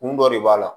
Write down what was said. Kun dɔ de b'a la